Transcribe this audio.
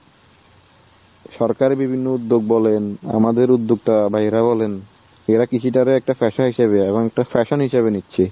সরকারের বিভিন্ন উদ্যোগ বলেন আমাদের উদ্যোক্তা বা এরা বলেন। এরা কৃষিটাকে একটা পেশা হিসেবে এবং একটা fashion হিসেবে নিচ্ছি।